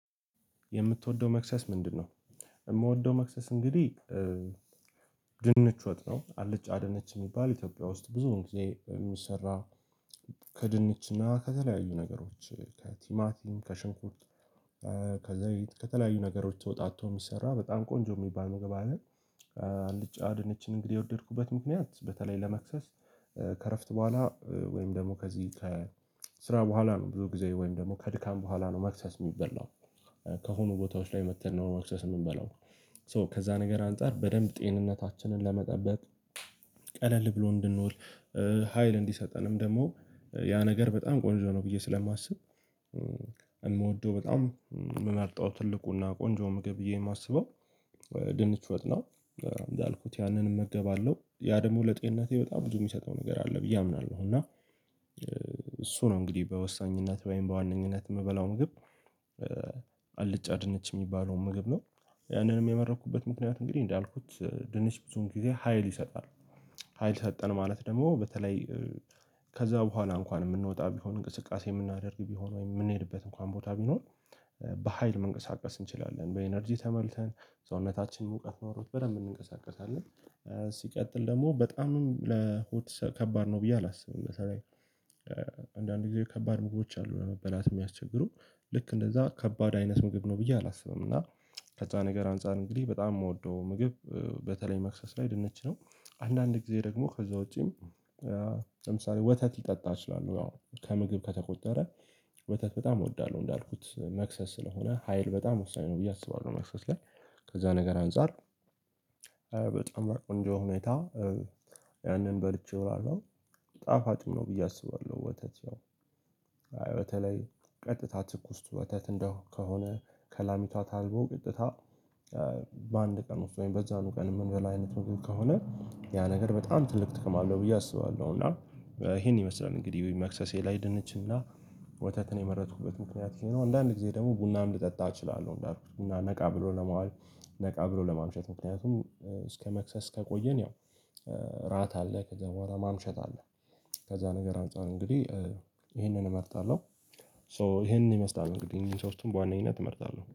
የምትወደው መክሰስ ምንድነው? የምወደው መክሰስ እንግዲህ ወጥ ነው አልጫ ድንች የሚባል ኢትዮጵያ ውስጥ ብዙ ጊዜ የሚሰራ ከድንችና ከተለያዩ ነገሮች ከቲማቲም ከሽንኩርት ከዘይት ከተለያዩ ነገሮች ተወጣጥቶ የሚሰራ በጣም ቆንጆ የሚባል ምግብ አለ አልጫ ድነችን እንግዲህ የወደድኩበት ምክንያት በተለይ ለመክሰስ ከእረፍት ቦኋላ ወይም ደግሞ ከዚህ ከስራ ቦኋላ ነው ብዙ ጊዜ ወይም ደግሞ ከድካም ቦኋላ ነው ማክሰስ ሚበላው። ከሆኑ ቦታዎች ላይ መጥተን ነው ማክሰስ የምንበላው ሶ ከዛ ነገር አንፃር በደንብ ጤንነታችንን ለመጠበቅ ብሎ እንድንዉል ሀይል እንዲሰጠንም ደግሞ ያ ነገር በጣም ቆንጆ ነው ብዬ ስለማስብ የምወደው በጣም የምመርጠው ትልቁና ቆንጆ ምግብ ብዬ የማስበው ድንች ወጥ ነው እንዳልኩት ያንን እመገባለው ያ ደግሞ ለጤንነቴ በጣም ብዙ የሚሰጠው ነገር አለ ብዬ አምናለው እና እሱ ነው እንግዲህ በወሳኝነት ወይም በዋነኝነት የምበላው ምግብ አልጫ ድነች የሚባለው ምግብ ነው። ያንንም የመረኩበት ምክንያት እንግዲህ እንዳልኩት ድንች ብዙን ጊዜ ሀይል ይሰጣል ሀይል ሰጠን ማለት ደግሞ በተለይ ከዛ ቦኋላ እንኳን የምንወጣ ቢሆን እንቅስቃሴ የምናደርግ ቢሆን ወይ የምንሄድበት እንኳን ቦታ ቢኖር በሃይል መንቀሳቀስ እንችላለን በኢነርጂ ተመልተን ሰውነታችን እውቀት ኖሮት በደንብ እንንቀሳቀሳለን። ሲቀጥል ደግሞ በጣምም ለሆት ከባድ ነው ብዬ አላስብም ለምሳሌ አንዳንድ ጊዜ ከባድ መግቦች አሉ ለመበላት የሚያስቸግሩ ልክ እንደዛ ከባድ አይነት ምግብ ነው ብዬ አላስብም እና ከዛ ነገር አንፃር እንግዲህ በጣም የምወደው ምግብ በተለይ መክሰስ ላይ ድንች ነው። አንዳንድ ጊዜ ደግሞ ከዛ ውጪም ለምሳሌ ወተት ሊጠጣ እችላለው ያው ከምግብ ከተቆጠረ ወተት በጣም እወዳለው እንዳልኩት መክሰስ ስለሆነ ሀይል በጣም ወሳኝ ነው ብዬ አስባለው መክሰስ ላይ ከዛ ነገር አንፃር በጣም ቆንጆ ሁኔታ ያንን በልቼው አለው ጣፋጭ ነው ብዬ አስባለው ወተት ያው በተለይ ቀጥታ ትኩስ ወተት እንደከሆነ ከላሚቷ ታልቦ ቅጥታ በአንድ ቀን ወይም በዛኑ ቀን የምንበላ አይነት ምግብ ከሆነ ያ ነገር በጣም ትልቅ ጥቅም አለው ብዬ አስባለው እና ይሄን ይመስላል እንግዲህ ወይም መክሰሴ ላይ ደነችና ወተትን የመረጥኩበት ምክንያት ይሄ ነው። አንዳንድ ጊዜ ደግሞ ቡናም ልጠጣ እችላለው እንዳልኩት ቡና ነቃ ብሎ ለማዋል ነቃ ብሎ ለማምሸት ምክንያቱም እስከ መክሰስ ከቆየን ያው አራት አለ ከዛ ቦኋላ ማምሸት አለ ከዛ ነገር አንፃር እንግዲህ ይሄንን እመርጣለው ሶ ይሄንን ይመስላል እንግዲህ ሶስቱን በዋነኝት እመርጣለው።